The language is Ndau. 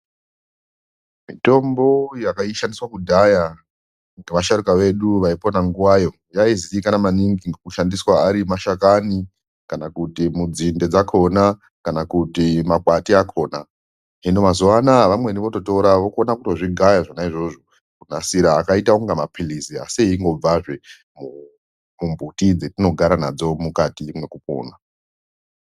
Mitombo yaishandiswa kudhaya ngevasharukwa vedu vaipona nguwayo yaiziikanwa maningi ngekushandiswa ari mashakani kana kuti mudzinde dzakona kana kuti makwati akona. Hino mazuwa anaa vamweni vototora vokona kutozvigaya zvona izvozvo kunasira akaita kunga maphirizi asi eingobvazve kumbuti dzetinogara nadzo mukati mwekupona.